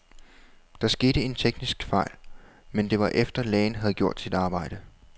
Der skete en teknisk fejl, men det var efter, lægen havde gjort sit arbejde.